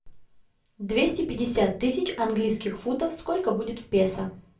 двести пятьдесят тысяч английских фунтов сколько будет в песо